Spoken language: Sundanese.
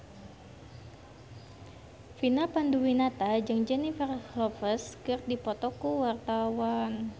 Vina Panduwinata jeung Jennifer Lopez keur dipoto ku wartawan